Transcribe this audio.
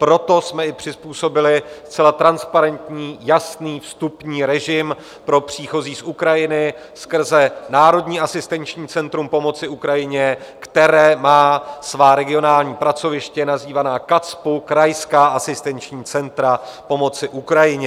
Proto jsme i přizpůsobili zcela transparentní, jasný vstupní režim pro příchozí z Ukrajiny skrze Národní asistenční centrum pomoci Ukrajině, které má svá regionální pracoviště, nazývaná KACPU, krajská asistenční centra pomoci Ukrajině.